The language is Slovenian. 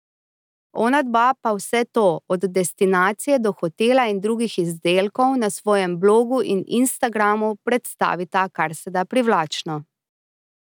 Onadva pa vse to, od destinacije do hotela in drugih izdelkov, na svojem blogu in Instagramu predstavita karseda privlačno.